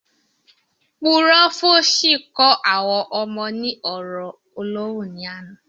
Púròfòsì kó àwọn ọmọ ní ọ̀rọ̀ ọlọ́hun ní àná